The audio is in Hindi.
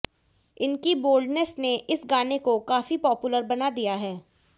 इनकी बोल्डनेस ने इस गाने को काफी पॉपुलर बना दिया है